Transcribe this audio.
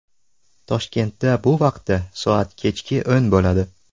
Toshkentda bu vaqtda soat kechki o‘n bo‘ladi.